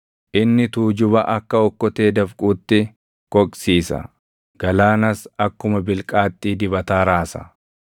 Inni tuujuba akka okkotee dafquutti koqsiisa; galaanas akkuma bilqaaxxii dibataa raasa.